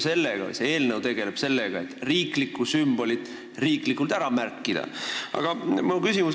See eelnõu tegeleb sellega, et riiklik sümbol ka riiklikult ära märkida.